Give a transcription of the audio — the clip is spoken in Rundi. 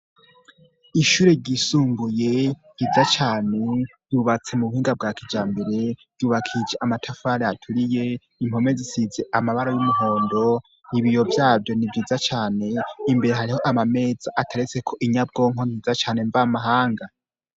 Ishure ryisunguye yiza cane yubatse mu buhinga bwa kija mbere yubakije amatafari aturiye impome zisize amabaro y'umuhondo ibiyo vyavyo ni vyiza cane imbere hariho amameza ataretse ko inyabwonko nziza cane mva amahanga.